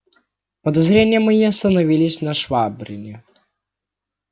подозрения мои остановились на швабрине